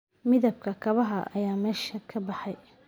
Midabka kabaha ayaa meesha ka baxay